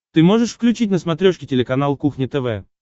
ты можешь включить на смотрешке телеканал кухня тв